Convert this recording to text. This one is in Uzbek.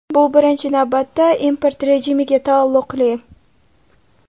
Bu birinchi navbatda import rejimiga taalluqli.